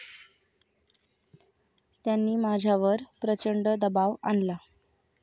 त्यांनी माझ्यावर प्रचंड दबाव आणला.